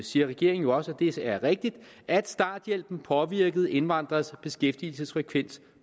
siger regeringen jo også er rigtigt at starthjælpen påvirkede indvandrernes beskæftigelsesfrekvens